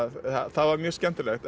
það var mjög skemmtilegt